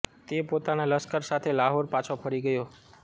તે પોતાના લશ્કર સાથે લાહોર પાછો ફરી ગયો